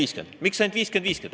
Miks just 50 : 50?